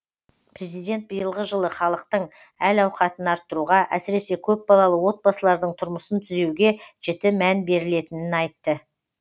президент биылғы жылы халықтың әл ауқатын арттыруға әсіресе көпбалалы отбасылардың тұрмысын түзеуге жіті мән берілетінін айтты